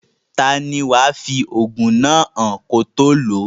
Taani wàá fi òògùn náà hàn kí o tó lòó?